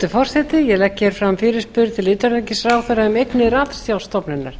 hæstvirtur forseti ég legg hér fram fyrirspurn til utanríkisráðherra um eignir ratsjárstofnunar